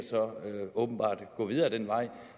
gå videre ad den vej